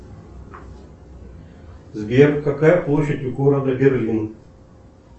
сбер какая площадь у города берлин